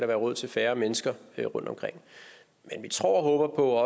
være råd til færre mennesker rundtomkring men vi tror og håber på at